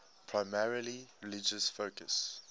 primarily religious focus